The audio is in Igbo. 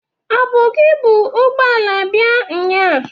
Ọ bụ gị bu ụgbọala bịa nnyaa?